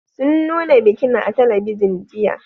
Sun nuna bikin a talabijin, jiya.